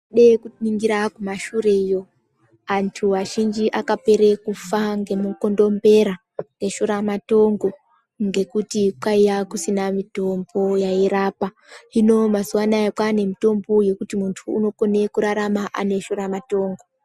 Dee kuningire kumashure iyo anthu azhinji akapera kufa ngemukondombera ngeshuramatongo ngekuti kwaiya kusina mitombo yairapa hino mazuwaanya kwaane mitombo yekuti munthu unokone kurarama ane shuramatongo.